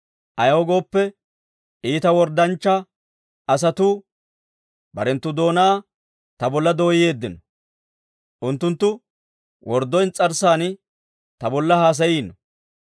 Ayaw gooppe, iita worddanchcha asatuu, barenttu doonaa ta bolla dooyeeddino; unttunttu worddo ins's'arssan ta bolla haasayiino.